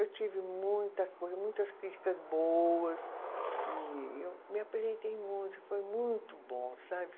Eu tive muita coisa, muitas críticas boas e eu me apresentei muito e foi muito bom, sabe?